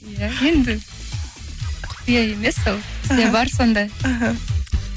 иә енді құпия емес ол іхі бізде бар сондай іхі